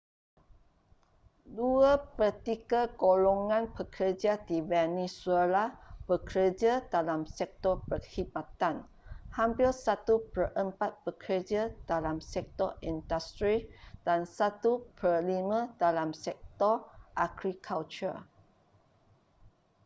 dua pertiga golongan pekerja di venezuela bekerja dalam sektor perkhidmatan hampir satu perempat bekerja dalam sektor industri dan satu perlima dalam sektor agrikultur